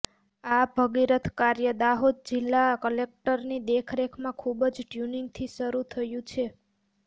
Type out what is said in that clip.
આ ભગિરથ કાર્ય દાહોદ જિલ્લા કલેક્ટરની દેખરેખમાં ખુબજ ટ્યુનિંગથી શરૂ થયું છે